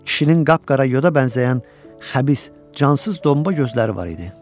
Kişinin qap-qara yoda bənzəyən xəbis, cansız domba gözləri var idi.